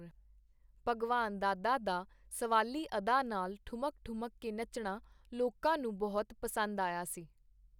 ਭਗਵਾਨ ਦਾਦਾ ਦਾ ਸਵਾਲੀ ਅਦਾ ਨਾਲ ਠੁਮਕ-ਠੁਮਰ ਕੇ ਨੱਚਣਾ ਲੋਕਾਂ ਨੂੰ ਬਹੁਤ ਪਸੰਦ ਆਇਆ ਸੀ.